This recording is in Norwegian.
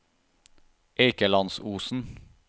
Eikelandsosen